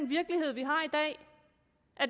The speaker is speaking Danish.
virkelighed vi har i dag